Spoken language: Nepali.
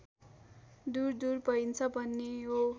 दुरदुर भइन्छ भन्ने हो